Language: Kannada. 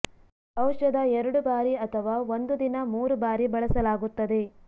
ಔಷಧ ಎರಡು ಬಾರಿ ಅಥವಾ ಒಂದು ದಿನ ಮೂರು ಬಾರಿ ಬಳಸಲಾಗುತ್ತದೆ